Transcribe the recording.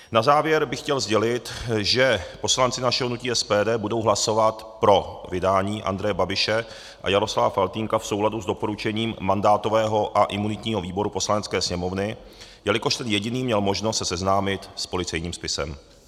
Na závěr bych chtěl sdělit, že poslanci našeho hnutí SPD budou hlasovat pro vydání Andreje Babiše a Jaroslava Faltýnka v souladu s doporučením mandátového a imunitního výboru Poslanecké sněmovny, jelikož ten jediný měl možnost se seznámit s policejním spisem.